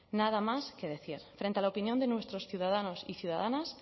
nada más que decir frente a la opinión de nuestros ciudadanos y ciudadanas